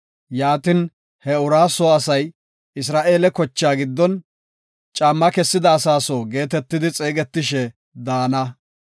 Yaatin, he uraa soo asay Isra7eele kochaa giddon, “Caamma kessida asaa soo” geetetidi xeegetishe daana.